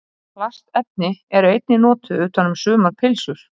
Plastefni eru einnig notuð utan um sumar pylsur.